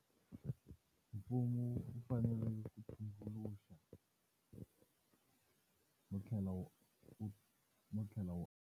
Mfumo wu fanele ku tumbuluxa, no tlhela wu no tlhela wu.